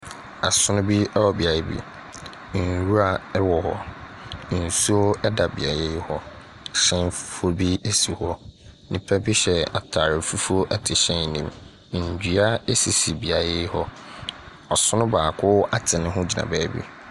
Asono bi ɛwɔ beaeɛ bi. Nnwira ɛwɔ hɔ. Nsuo ɛda beaeɛ yi hɔ. Ɛhyɛn fufuo bi ɛsi hɔ. Nipa bi hyɛ ataade fufuo ɛte hyɛn no mu. Nnua ɛsisi beaɛ yi hɔ. Ɔsono baako ate ne ho gyina baabi.